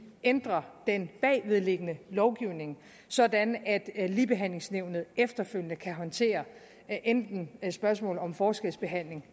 ændre den bagvedliggende lovgivning sådan at at ligebehandlingsnævnet efterfølgende kan håndtere enten spørgsmål om forskelsbehandling